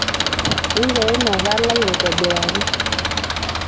ingero ina palai aitobiraki